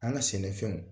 An ka sɛnɛfɛnw